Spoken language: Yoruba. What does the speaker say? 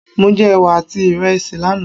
Mo jẹ Ẹ̀wà àti ráìsì lánàá.